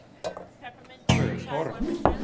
Sjötorp